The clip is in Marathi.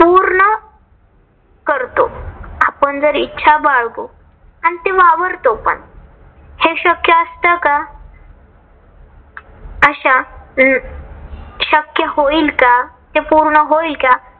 करतो. आपण जर इच्छा बाळगून आणि ते वावरतो पण. हे शक्य असत का? अशा शक्य होईल का? हे पूर्ण होईल का?